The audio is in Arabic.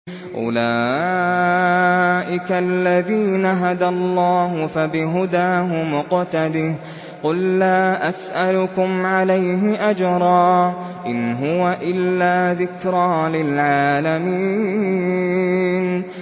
أُولَٰئِكَ الَّذِينَ هَدَى اللَّهُ ۖ فَبِهُدَاهُمُ اقْتَدِهْ ۗ قُل لَّا أَسْأَلُكُمْ عَلَيْهِ أَجْرًا ۖ إِنْ هُوَ إِلَّا ذِكْرَىٰ لِلْعَالَمِينَ